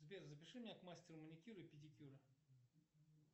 сбер запиши меня к мастеру маникюра и педикюра